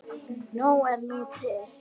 Nóg er nú til.